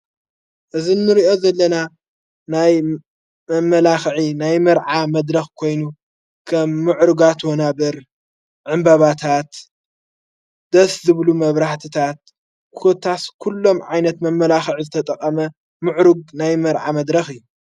እዝ ንርእኦ ዘለና ናይ መመላኽዒ ናይ መርዓ መድረኽ ኮይኑ ከም ምዕርጋት ወና በር ዕምበባታት ደስ ዝብሉ መብራህትታት ኰታስ ኲሎም ዓይነት መመላኽዕ ዘተጠቐመ ምዕሩግ ናይ መርዓ መድረኽ እዩ::